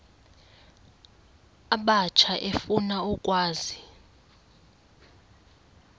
abatsha efuna ukwazi